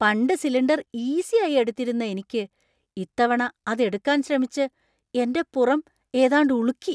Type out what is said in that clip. പണ്ട് സിലിണ്ടർ ഈസിയായി എടുത്തിരുന്ന എനിക്ക് ഇത്തവണ അതെടുക്കാന്‍ ശ്രമിച്ച് എന്‍റെ പുറം ഏതാണ്ട് ഉളുക്കി.